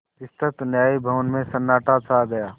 विस्तृत न्याय भवन में सन्नाटा छा गया